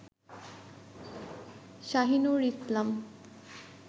Shahinur Islam